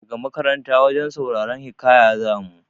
Daga makaranta wajen sauraran hiƙaya za mu.